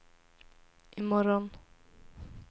imorgon